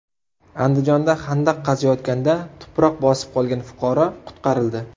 Andijonda xandaq qaziyotganda tuproq bosib qolgan fuqaro qutqarildi.